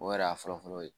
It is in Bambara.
O yɛrɛ y'a fɔlɔfɔlɔ ye